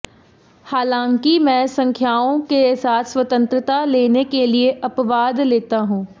हालांकि मैं संख्याओं के साथ स्वतंत्रता लेने के लिए अपवाद लेता हूं